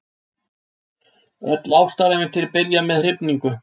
Öll ástarævintýri byrja með hrifningu.